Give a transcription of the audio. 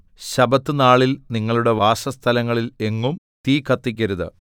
ശബ്ബത്ത് നാളിൽ നിങ്ങളുടെ വാസസ്ഥലങ്ങളിൽ എങ്ങും തീ കത്തിക്കരുത്